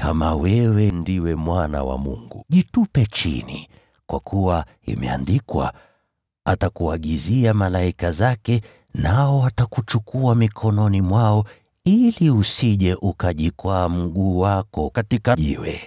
“Kama wewe ndiwe Mwana wa Mungu jitupe chini. Kwa kuwa imeandikwa: “ ‘Atakuagizia malaika zake, nao watakuchukua mikononi mwao ili usije ukajikwaa mguu wako katika jiwe.’ ”